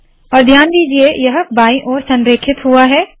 और ध्यान दीजिए के यह बाईं ओर संरेखित हुआ है